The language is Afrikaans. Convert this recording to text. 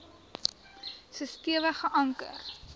so stewig geanker